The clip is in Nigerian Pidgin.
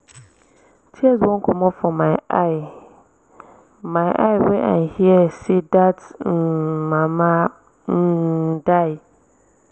tears wan comot for my eye my eye wen i hear say dat um mama um die